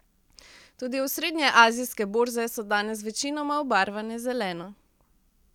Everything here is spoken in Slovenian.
Tudi osrednje azijske borze so danes večinoma obarvane zeleno.